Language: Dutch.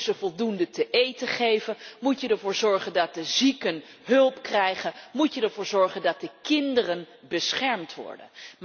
Moet je ze voldoende te eten geven, moet je ervoor zorgen dat de zieken hulp krijgen, moet je ervoor zorgen dat de kinderen beschermd worden.